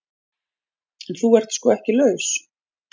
En þú ert sko ekki laus.